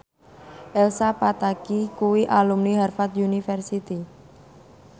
Elsa Pataky kuwi alumni Harvard university